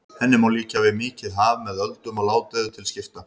Henni má líkja við mikið haf með öldum og ládeyðu til skipta.